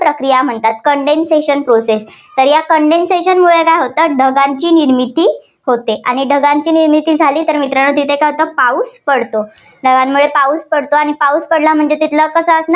प्रक्रिया म्हणतात. condensation process तर condensation मुळे काय होतात ढगाची निर्मिती होते. आणि ढगांची निर्मिती झाली तर मित्रांनो तिथे काय होतो पाऊस पडतो. ढगांमुळे पाऊस पडतो आणि पाऊस पडल्यामुळे तिथलं